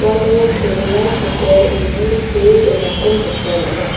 uano kerela hotel ine see donako nikna man·a.